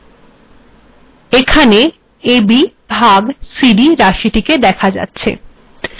এখােন a b ভাগ c d রািশিট েদখা যাচ্েছ